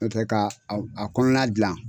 Nɔ tɛ ka a kɔnɔna gilan